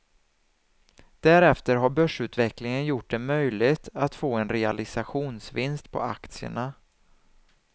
Därefter har börsutvecklingen gjort det möjligt att få en realisationsvinst på aktierna.